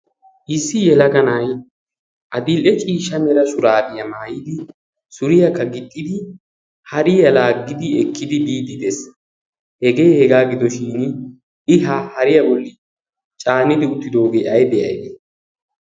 issi yelaganai adil"e ciisha nera suraabiyaa maayidi suriyaakka gixxidi hariya laaggidi ekkidi biiddi dees hegee hegaa gidoshin i ha hariyaa bolli caanidi uttidoogee ai de'aagee